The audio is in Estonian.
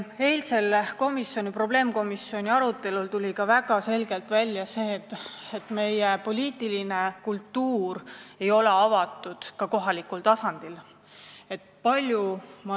Eilsel probleemkomisjoni arutelul tuli väga selgelt välja seegi, et meie poliitiline kultuur ei ole ka kohalikul tasandil avatud.